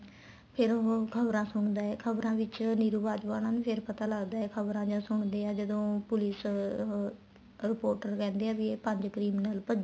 ਫ਼ੇਰ ਉਹ ਖਬਰਾਂ ਸੁਣਦੇ ਏ ਖਬਰਾਂ ਵਿੱਚ ਨੀਰੂ ਬਾਜਵਾ ਉਹਨਾ ਨੂੰ ਫ਼ੇਰ ਪਤਾ ਲੱਗਦਾ ਏ ਖਬਰਾਂ ਜਦ ਸੁਣਦੇ ਏ ਜਦੋਂ police ਅਹ ਰਿਪੋਰਟ ਕਹਿੰਦੇ ਆ ਵੀ ਇਹ ਪੰਜ criminal ਭੱਜ਼ੇ